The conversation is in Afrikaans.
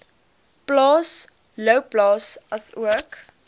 plaas louwplaas asook